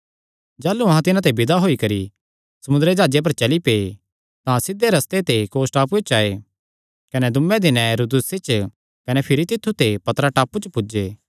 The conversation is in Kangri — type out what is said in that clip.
जाह़लू अहां तिन्हां ते विदा होई करी समुंदरी जाह्जे पर चली पै तां सिध्धे रस्ते ते कोस टापूये च आये कने दूये दिने रुदुसे च कने भिरी तित्थु ते पतरा टापू च पुज्जे